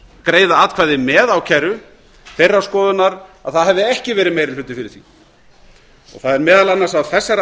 greiða atkvæði með ákæru þeirrar skoðunar að það hefði ekki verið meiri hluti fyrir því það er meðal annars af þessari